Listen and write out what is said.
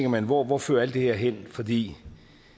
man hvor hvor fører alt det her hen fordi